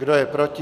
Kdo je proti?